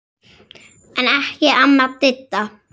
En ekki amma Didda.